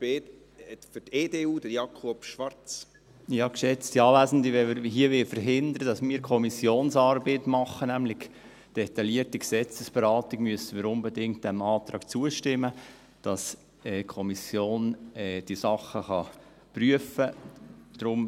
Wenn wir hier verhindern wollen, dass wir Kommissionsarbeit machen – nämlich eine detaillierte Gesetzesberatung –, müssen wir diesem Antrag unbedingt zustimmen, damit die Kommission diese Dinge prüfen kann.